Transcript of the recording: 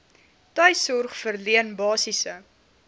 tuissorg verleen basiese